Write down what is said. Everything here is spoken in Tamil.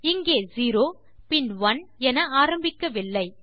இங்கே செரோ பின் ஒனே என ஆரம்பிக்கவில்லை